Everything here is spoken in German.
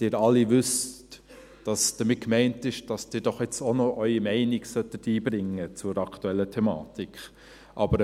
Sie alle wissen, dass damit gemeint ist, dass Sie jetzt doch auch noch Ihre Meinung zur aktuellen Thematik einbringen sollten.